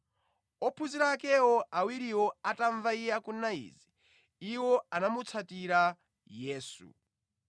Ophunzira ake awiriwo atamva iye akunena izi, iwo anamutsatira Yesu.